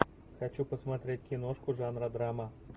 хочу посмотреть киношку жанра драма